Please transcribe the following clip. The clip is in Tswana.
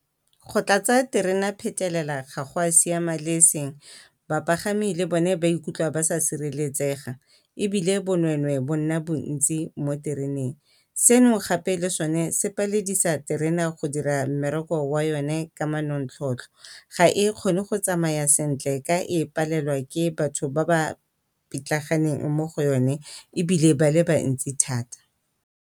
Go tlatsa terena phetelela ga go a siama le e seng, bapagami le bone ba ikutlwa ba sa sireletsega ebile bonwenwe bo nna bontsi mo tereneng. Seno gape le sone se paledisa terena go dira mmereko wa yone ka manontlhotlho. Ga e kgone go tsamaya sentle ka e palelwa ke batho ba ba pitlaganeng mo go yone ebile ba le bantsi thata.